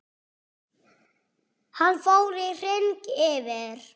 Hann fór í hring yfir